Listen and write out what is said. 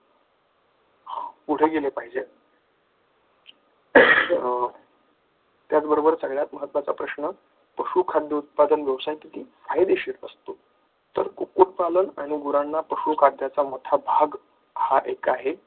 पुढे गेले पाहिजे अं त्याचबरोबर सगळ्यात महत्त्वाचा प्रश्न पशुखाद्य उत्पादन व्यवसायातही फायदेशीर असतो कुक्कुटपालन आणि गुरांना पशुखाद्याचा मोठा भाग हा एक आहे.